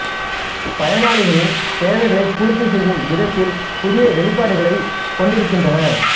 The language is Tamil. பயனாளிகளின் தேவைகளைப் பூர்த்தி செய்யும் விதத்தில் புதிய வெளிபாடுகளைக் கொடுக்கின்றன